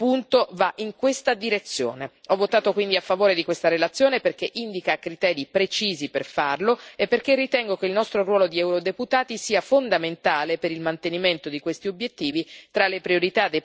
Ho votato quindi a favore di questa relazione perché indica criteri precisi per farlo e perché ritengo che il nostro ruolo di eurodeputati sia fondamentale per il mantenimento di questi obiettivi tra le priorità dei parlamenti nazionali e dei nostri territori.